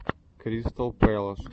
кристал пэлас